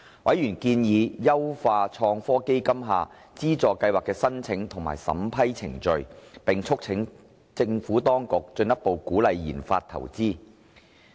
委員建議優化創科基金下資助計劃的申請及審批程序，並促請當局進一步鼓勵研發投資。